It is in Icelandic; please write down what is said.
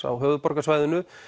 á höfuðborgarsvæðinu